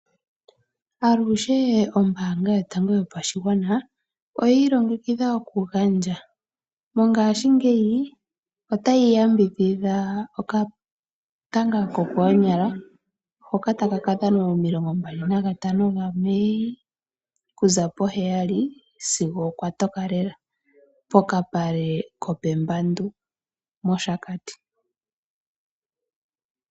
Aluhe ombaanga yotango yopashigwana oyiilongekidha oku gandja. Mongaashingeyi otayi yambidhidha okatanga kokoonyala hoka taka ka dhanwa momilonga mbali nagantano gaMei, okuza poheyali sigo okwa toka lela pokapale kopEmbadu moShakati.